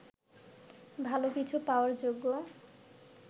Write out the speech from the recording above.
ভালো কিছু পাওয়ার যোগ্য